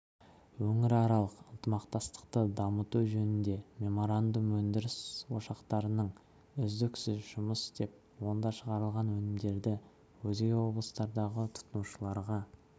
өңіраралық ынтымақтастықты дамыту жөніндегі меморандум өндіріс ошақтарының үздіксіз жұмыс істеп онда шығарылған өнімдерді өзге облыстардағы тұтынушыларға